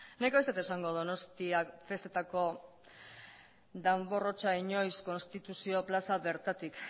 nik ez dut esango donostiak festetako danbor hotsa inoiz konstituzio plaza bertatik